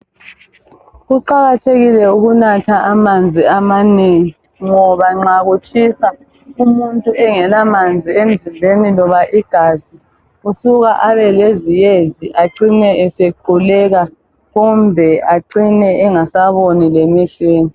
Kuqakathekile ukunatha amanzi amanengi ngoba nxa kutshisa umuntu engelamanzi emzimbeni loba igazi usuka abe leziyezi acine esequleka kumbe acine engasaboni lemehlweni.